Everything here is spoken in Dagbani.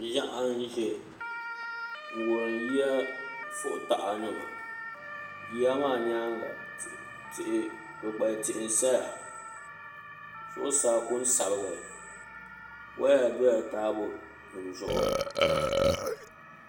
Ʒiɛɣu n ʒɛ n wurim yiya fui taha nima yiya maa nyaanga kpukpali tihi n saya zuɣusaa ku n sabigi woya dola taabo nim zuɣu